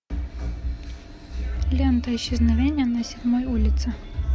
лента исчезновение на седьмой улице